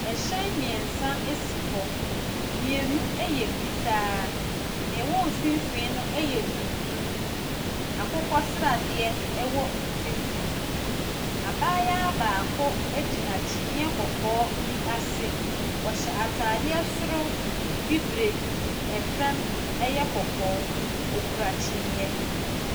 Ahyɛn mmiɛnsa si hɔ. Mmienu yɛ fitaa. Nea ɛwɔ mfimfin no yɛ tuntum. Akokɔsradeɛ wɔ mfimfin. Abaayewa gyina kyiniiɛ kɔkɔɔ bi ase. Ɔhyɛ ataadeɛ soro bibire, fam yɛ kɔkɔɔ. Okura kyiniiɛ.